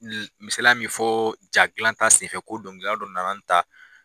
Misaliya min bɛ fɔ ja dilanta senfɛ ko dɔnkilidala dɔ nana nin ta.